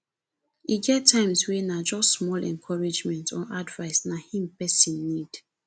e get times wey na just small encouragement or advise na em pesin need